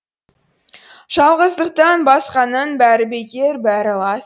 жалғыздықтан басқаның бәрі бекер бәрі лас